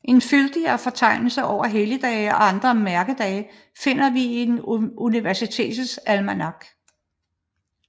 En fyldigere fortegnelse over helligdage og andre mærkedage finder vi i Universitetets almanak